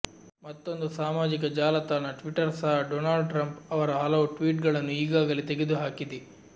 ಮತ್ತೊಂದು ಸಾಮಾಜಿಕ ಜಾಲತಾಣ ಟ್ವಿಟರ್ ಸಹ ಡೊನಾಲ್ಡ್ ಟ್ರಂಪ್ ಅವರ ಹಲವು ಟ್ವೀಟ್ ಗಳನ್ನು ಈಗಾಗಲೇ ತೆಗೆದುಹಾಕಿದೆ